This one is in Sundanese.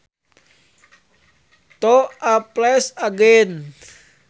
To a place again